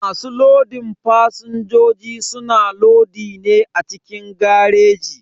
Masu lodin fasinjoji suna lodi ne a cikin gareji.